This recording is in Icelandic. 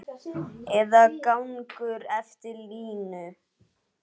Eða gengur eftir línu.